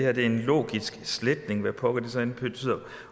at det er en logisk sletning hvad pokker det så end betyder